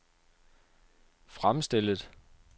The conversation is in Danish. fremstillet